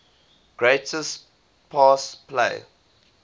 greatest pass play